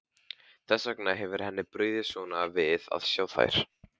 Þess vegna hefur henni brugðið svona við að sjá þær.